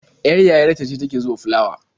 Ƴar yayar ta ce ta ke zuba fulawa.